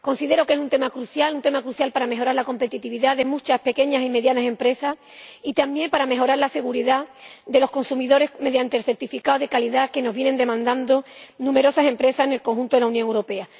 Considero que es un tema crucial para mejorar la competitividad de muchas pequeñas y medianas empresas, y también para mejorar la seguridad de los consumidores mediante el certificado de calidad que nos vienen demandando numerosas empresas en el conjunto de la Unión Europea.